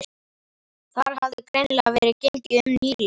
Þar hafði greinilega verið gengið um nýlega.